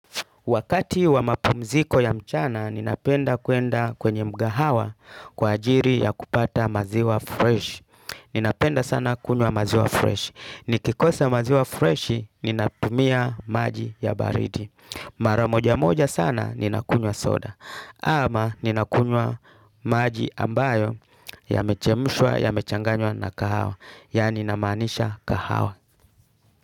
Wakati wa mapumziko ya mchana, ninapenda kwenda kwenye mga hawa kwa ajiri ya kupata maziwa fresh. Ninapenda sana kunywa maziwa fresh. Nikikosa maziwa fresh, ninatumia maji ya baridi. Maramoja moja sana, ninakunywa soda. Ama ninakunywa maji ambayo ya mechemshwa, ya mechanganywa na kahawa. Yaani namaanisha kahawa.